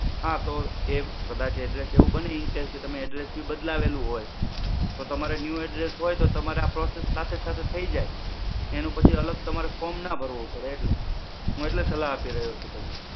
હા તો, એ કદાચ address એવું બને incase કે તમે address ભી બદલાવેલું હોય તો તમારે new address હોય તો તમારે આ process સાથે સાથે થઇ જાય. એનું પછી તમારે અલગ form ના ભરવું પડે એટલે. હું એટલે સલાહ આપી રહ્યો છું તમને.